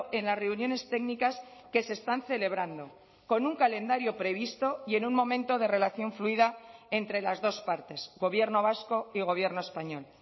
en las reuniones técnicas que se están celebrando con un calendario previsto y en un momento de relación fluida entre las dos partes gobierno vasco y gobierno español